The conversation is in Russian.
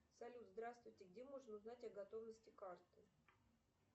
салют здравствуйте где можно узнать о готовности карты